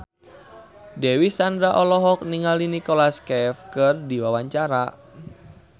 Dewi Sandra olohok ningali Nicholas Cafe keur diwawancara